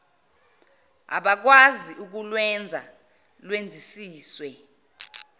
ngabakwazi ukulwenza lwenzisiswe